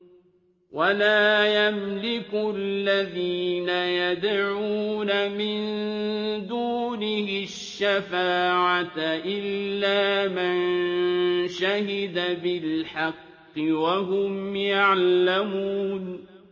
وَلَا يَمْلِكُ الَّذِينَ يَدْعُونَ مِن دُونِهِ الشَّفَاعَةَ إِلَّا مَن شَهِدَ بِالْحَقِّ وَهُمْ يَعْلَمُونَ